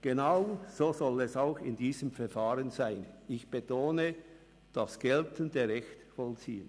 Genau so soll es auch in diesem Verfahren sein – ich betone: das geltende Recht vollziehen.